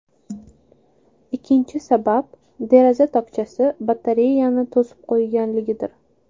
Ikkinchi sabab, deraza tokchasi batareyani to‘sib qo‘yganligidir.